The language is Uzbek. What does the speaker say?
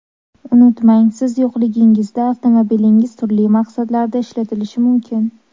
Unutmang, siz yo‘qligingizda avtomobilingiz turli maqsadlarda ishlatilishi mumkin.